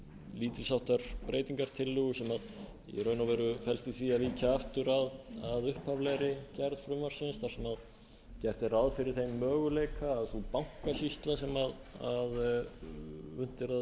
lítils háttar breytingartillögu sem í raun og veru felst í því að víkja aftur að upphaflegri gerð frumvarpsins þar sem gert er ráð fyrir þeim möguleika að sú bankasýsla sem unnið er að því að setja á